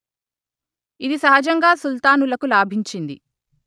ఇది సహజంగా సుల్తానులకు లాభించింది